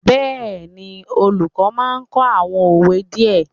Yes, the teacher would teach some proverbs